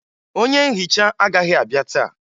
Onye nhicha agaghị abịa taa